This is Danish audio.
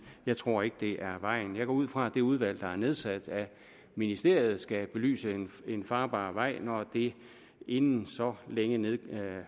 jeg tror ikke det er vejen jeg går ud fra at det udvalg der er nedsat af ministeriet skal belyse en farbar vej når det inden så længe